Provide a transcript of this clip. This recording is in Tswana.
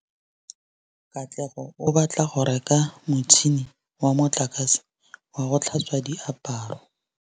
Katlego o batla go reka motšhine wa motlakase wa go tlhatswa diaparo.